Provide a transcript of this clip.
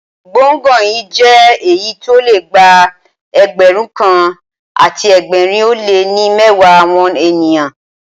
Gbọ̀ngàn yí jẹ́ èyí tí ó le gba Ẹgbẹ̀rún kan àti ẹgbẹ̀rin ó lé ní mẹ́wàá àwọn ènìyàn.